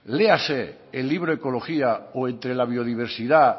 léase el libro ecología o entre la biodiversidad